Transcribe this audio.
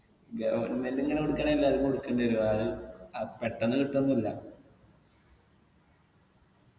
government ഇങ്ങന കൊടുക്കണേ എല്ലാർക്കും കൊടുക്കണ്ടി വരും ആരും അഹ് പെട്ടെന്ന് കിട്ടു ഒന്നുല്ല